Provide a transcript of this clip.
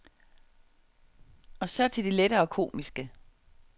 Og så til det lettere komiske.